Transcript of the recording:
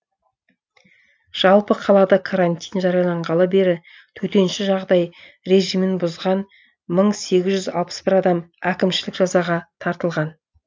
жалпы қалада карантин жарияланғалы бері төтенше жағдай режимін бұзған мың сегіз жүз алпыс бір адам әкімшілік жазаға тартылған